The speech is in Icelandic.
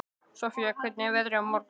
Sofía, hvernig er veðrið á morgun?